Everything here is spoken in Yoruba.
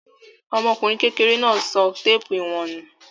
Ọmọkùnrin kekere náà sọ téépù ìwọ̀n nù.